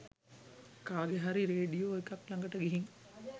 කාගෙ හරි රේඩියෝ එකක් ලඟට ගිහින්